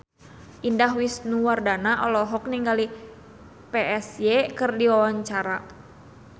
Indah Wisnuwardana olohok ningali Psy keur diwawancara